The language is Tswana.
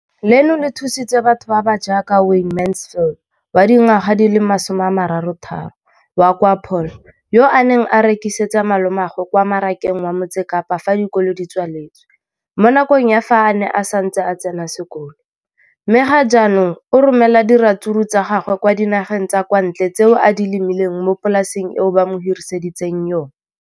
Leno le thusitse batho ba ba jaaka Wayne Mansfield, 33, wa kwa Paarl, yo a neng a rekisetsa malomagwe kwa Marakeng wa Motsekapa fa dikolo di tswaletse, mo nakong ya fa a ne a santse a tsena sekolo, mme ga jaanong o romela diratsuru tsa gagwe kwa dinageng tsa kwa ntle tseo a di lemileng mo polaseng eo ba mo hiriseditseng yona.